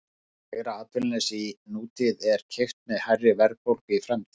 Lægra atvinnuleysi í nútíð er keypt með hærri verðbólgu í framtíð.